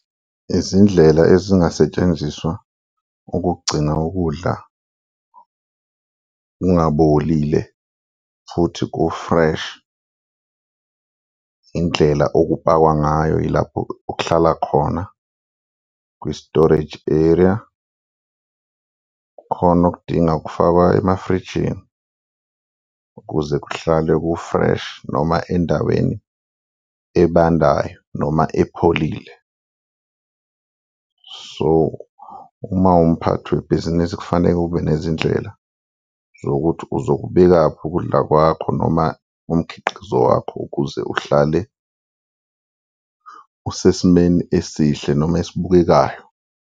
Izindlela ezingasetshenziswa ukugcina ukudla kungabolile futhi ku-fresh, indlela okupakwa ngayo yilapho okuhlala khona, kwi-storage area, kukhona okudinga ukufakwa emafrijini ukuze kuhlale ku-fresh noma endaweni ebandayo noma epholile. So uma uwumphathi webhizinisi kufanele ube nezindlela zokuthi uzokubekaphi ukudla kwakho noma umkhiqizo wakho ukuze uhlale usesimeni esihle noma esibukekayo.